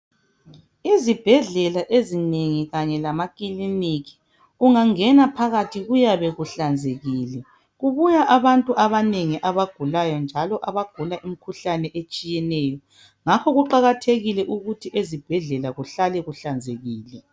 Ezibhedlela ezinengi kanye lamakiliniki ungangena phakathi kuyabe kuhlanzekile kubuya abantu abanengi abagulayo njalo abagula imikhuhlane etshiyeneyo ngakho kuqakathekile ukuthi ezibhedlela kuhlale kuhlanzekile.